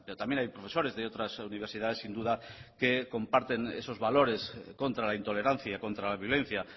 también hay profesores de otras universidades sin duda que comparten esos valores contra la intolerancia y contra la violencia